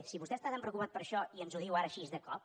si vostè està tan preocupat per això i ens ho diu ara així de cop